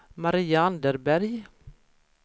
Maria Anderberg